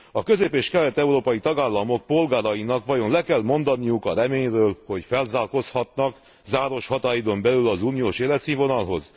A közép és kelet európai tagállamok polgárainak vajon le kell mondaniuk a reményről, hogy felzárkózhatnak záros határidőn belül az uniós életszínvonalhoz?